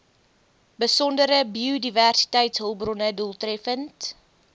besondere biodiversiteitshulpbronne doeltreffend